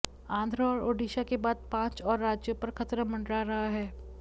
आंध्र और ओडिशा के बाद पांच और राज्यों पर खतरा मंडरा रहा है